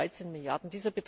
313 Milliarden